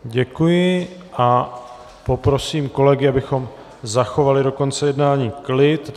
Děkuji a poprosím kolegy, abychom zachovali do konce jednání klid.